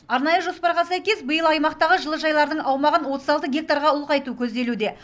арнайы жоспарға сәйкес биыл аймақтағы жылыжайлардың аумағын отыз алты гектарға ұлғайту көзделуде